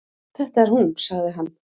Þetta er hún sagði hann.